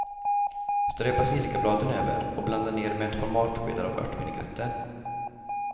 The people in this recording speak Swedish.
Strö basilikabladen över och blanda ner med ett par matskedar av örtvinägretten.